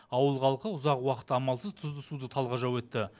ауыл халқы ұзақ уақыт амалсыз тұзды суды талғажау етті